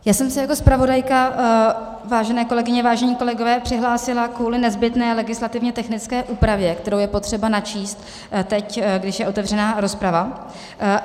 Já jsem se jako zpravodajka, vážené kolegyně, vážení kolegové, přihlásila kvůli nezbytné legislativně technické úpravě, kterou je potřeba načíst teď, když je otevřená rozprava.